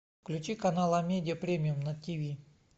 включи канал амедиа премиум на тиви